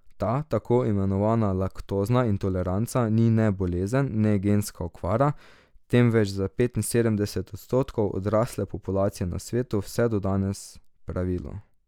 Ta tako imenovana laktozna intoleranca ni ne bolezen ne genska okvara, temveč za petinsedemdeset odstotkov odrasle populacije na svetu vse do danes pravilo.